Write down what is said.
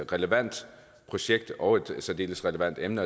relevant projekt og et særdeles relevant emne